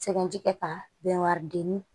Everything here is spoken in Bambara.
Sɛbɛn ti kɛ ka bɛnwari deni